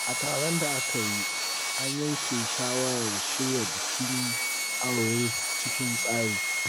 A taron da aka yi, an yanke shawarar shirya bikin aure cikin tsari.